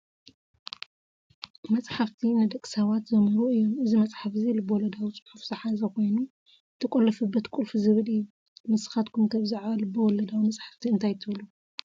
መፅሓፍቲ፡-ንደቂ ሰባት ዘምህሩ እዮም፡፡ እዚ መፅሓፍ እዚ ልበወለዳዊ ፅሑፍ ዝሓዘ ኮይኑ "የተቆለፈበት ቁልፍ" ዝብል እዩ፡፡ ንስኻትኩም ከ ብዛዕባ ልበወለዳዊ መፅሓፍቲ እንታይ ትብሉ?